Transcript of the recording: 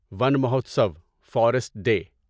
one Mahotsav forest day